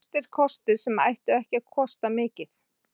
Traustir kostir sem ættu ekki að kosta mikið.